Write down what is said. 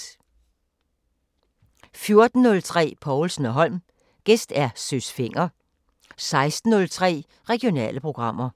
14:03: Povlsen & Holm: Gæst Søs Fenger 16:03: Regionale programmer